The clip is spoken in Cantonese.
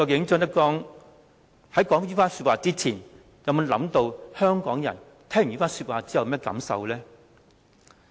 張德江說出這番話之前，究竟有否想過香港人聽到後有甚麼感受呢？